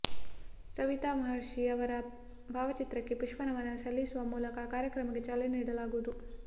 ಸವಿತಾ ಮಹರ್ಷಿ ಅವರ ಭಾವಚಿತ್ರಕ್ಕೆ ಪುಷ್ಪ ನಮನ ಸಲ್ಲಿಸುವ ಮೂಲಕ ಕಾರ್ಯಕ್ರಮಕ್ಕೆ ಚಾಲನೆ ನೀಡಲಾಗುವುದು